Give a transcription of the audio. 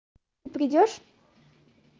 придёшь